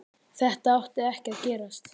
Þetta átti ekki að gerast.